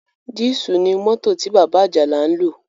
Dísù ní mọ́tò tí bàbá Àjàlá ń lò.